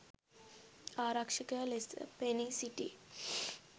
ආරක්ෂකයා ලෙස පෙනීසිටි